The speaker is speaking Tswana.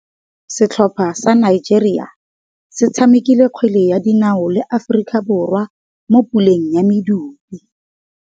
Setlhopha sa Nigeria se tshamekile kgwele ya dinaô le Aforika Borwa mo puleng ya medupe.